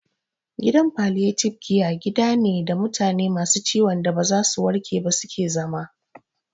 Gidan Falliyatibe kiya gida ne da mutane masu ciwon da ba za su warke ba su ke zama